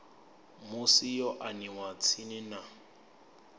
musi yo aniwa tsini na